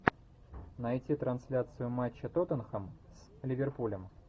найти трансляцию матча тоттенхэм с ливерпулем